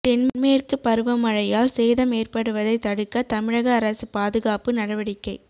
தென்மேற்கு பருவமழையால் சேதம் ஏற்படுவதை தடுக்க தமிழக அரசு பாதுகாப்பு நடவடிக்கை